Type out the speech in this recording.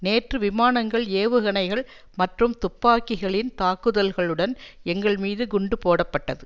நேற்று விமானங்கள் ஏவுகணைகள் மற்றும் துப்பாக்கிகளின் தாக்குதல்களுடன் எங்கள் மீது குண்டு போடப்பட்டது